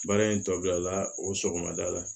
Baara in tɔbila o sɔgɔmada la